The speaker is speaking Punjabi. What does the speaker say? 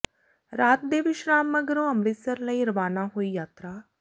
ਰਾਤ ਦੇ ਵਿਸ਼ਰਾਮ ਮਗਰੋਂ ਅੰਮ੍ਰਿਤਸਰ ਲਈ ਰਵਾਨਾ ਹੋਈ ਯਾਤਰਾ